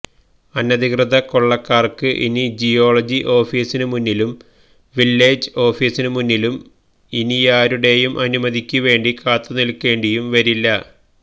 അനധികൃക കൊള്ളക്കാര്ക്ക് ഇനി ജിയോളജി ഓഫീസിനു മുന്നിലും വില്ലേജ് ഓഫീസിനു മുന്നിലും ഇനിയാരുടെയും അനുമതിക്കു വേണ്ടി കാത്തു നില്ക്കേണ്ടിയും വരില്ല